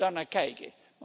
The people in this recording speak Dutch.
We zullen daarnaar kijken.